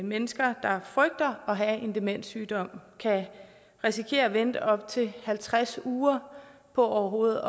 mennesker der frygter at have en demenssygdom kan risikere at vente op til halvtreds uger på overhovedet